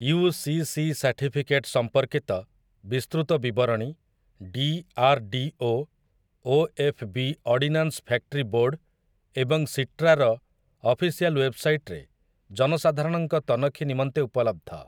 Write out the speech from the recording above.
UCC certificate ସମ୍ପର୍କୀତ ବିସ୍ତୃତ ବିବରଣୀ DRDO, OFB ordnance factory board ଏବଂ ସିଟ୍ରା ର ଅଫିସିଆଲ୍ ୱେବ୍‌ସାଇଟ୍‌ ରେ ଜନସାଧାରଣଙ୍କ ତନଖି ନିମନ୍ତେ ଉପଲବ୍ଧ ।